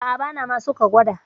A'a, bana ma so ka gwada.